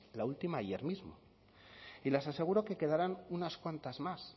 la última ayer mismo y les aseguro que quedarán unas cuantas más